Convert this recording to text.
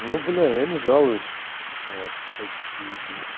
ну бля я не жалуюсь вот все-так заебись